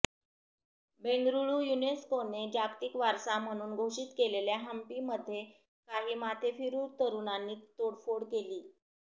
बेंगरुळू युनेस्कोने जागतिक वारसा म्हणून घोषित केलेल्या हम्पीमध्ये काही माथेफिरू तरुणांनी तोडफोड केली